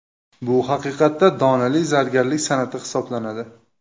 Bu haqiqatda donali zargarlik san’ati hisoblanadi.